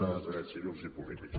de drets civils i polítics